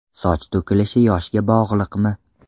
Soch to‘kilishi yoshga bog‘liqmi?.